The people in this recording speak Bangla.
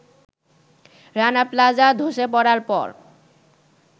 রানা প্লাজা ধসে পড়ার পর